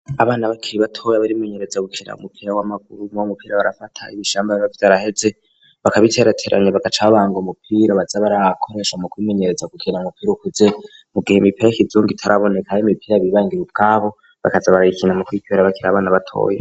Abana bakira batoya barimenyereza gukira umupira w'amaguru mabo umupira barafata ibishamba bbavyo araheze bakabiterateranya bagacabanga umupira bazabar aakoresha mu kumenyereza gukira mupira ukuze mu gihe imipira kizunga itaraboneka aho imipira bibangira ubwabo bakaza barayikina mu kwikbera bakira abana batoye.